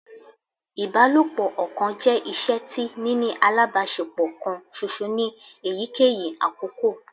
Ibalopo ọkan jẹ iṣe ti nini alabaṣepọ kan ṣoṣo ni eyikeyi akoko